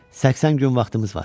80 gün vaxtımız var.